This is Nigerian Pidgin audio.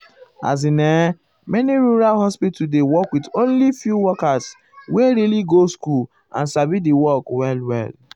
as in[um]many rural hospital dey work with only few workers wey really go school and sabi di work well well.